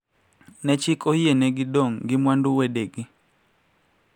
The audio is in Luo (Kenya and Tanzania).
Ma chik oyienegi dong` gi mwandu wedegi